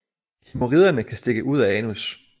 Hæmoriderne kan stikke ud af anus